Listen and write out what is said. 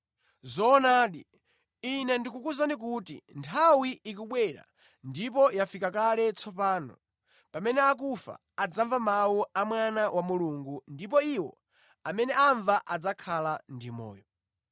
Zoonadi, Ine ndikukuwuzani kuti nthawi ikubwera ndipo yafika kale tsopano, pamene akufa adzamva mawu a Mwana wa Mulungu ndipo iwo amene amva adzakhala ndi moyo.